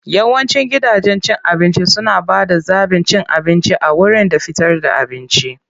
Yawancin gidajen cin abinci suna ba da zaɓin cin abinci a wurin da fitar da abinci.